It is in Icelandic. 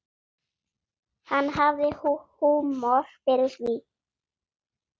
Hann hafði húmor fyrir því.